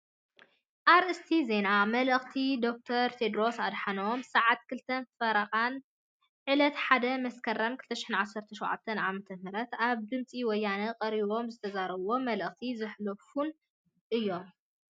ኣርእስተ ዜና መልእክቲ ደ/ር ቴድርስ ኣድሓኖም ስዓት 2:30 01 መስከረም 2017 ዓ/ም ኣብ ድምፂ ወያነ ቀሪቦም ዝተዘረቡ መልእክቲ ዘሕለፉን እዮም።